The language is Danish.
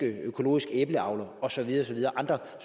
økologisk æbleavler og så videre der er andre